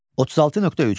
36.3.